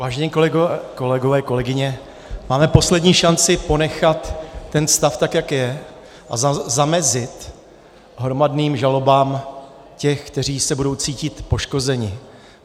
Vážení kolegové, kolegyně, máme poslední šanci ponechat ten stav tak, jak je, a zamezit hromadným žalobám těch, kteří se budou cítit poškozeni.